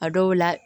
A dɔw la